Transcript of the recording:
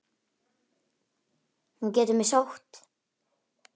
Hún getur mig sótt.